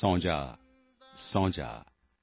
ਸੋ ਜਾਓ ਸੋ ਜਾਓ